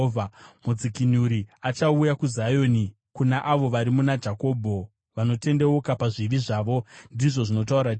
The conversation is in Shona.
“Mudzikinuri achauya kuZioni, kuna avo vari muna Jakobho vanotendeuka pazvivi zvavo,” ndizvo zvinotaura Jehovha.